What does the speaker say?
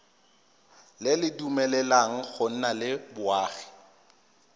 dumeleleng go nna le boagi